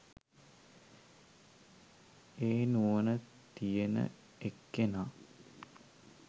ඒ නුවණ තියෙන එක්කෙනා